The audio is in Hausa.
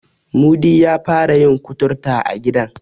Mudi ya fara yin kuturta a gidan.